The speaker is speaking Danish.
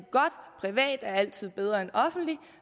privat altid er bedre end offentligt